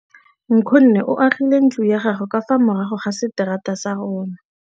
Nkgonne o agile ntlo ya gagwe ka fa morago ga seterata sa rona.